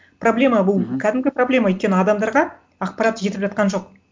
проблема бұл мхм кәдімгі проблема өйткені адамдарға ақпарат жетіп жатқан жоқ